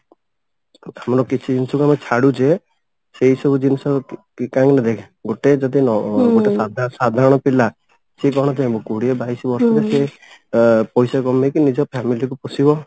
ସେମାନଙ୍କୁ କିଛି ଜିନିଷ ଆମେ ଛାଡୁଛେ ସେଇ ସବୁ ଜିନିଷ କାହିଁକିନା ଦେଖ ଗୋଟେ ଯଦି ନ ଗୋଟେ ସାଧାରଣ ସାଧାରଣ ପିଲା ସେ କଣ ଚାହିଁବ କୋଡିଏ ବାଇଶି ବର୍ଷରେ ସେ ଅ ପଇସା କମେଇକି ନିଜ family କୁ ପୋସିବ